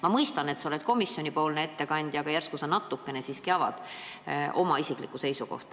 Ma mõistan, et sa oled komisjoni ettekandja, aga järsku sa natukene siiski avad oma isiklikku seisukohta.